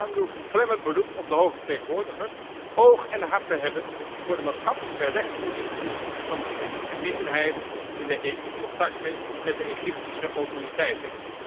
Daarom doe ik een klemmend beroep op de Hoge vertegenwoordiger oog en hart te hebben voor de maatschappelijke rechtspositie van de christelijke minderheid in de EU contacten met de Egyptische autoriteiten.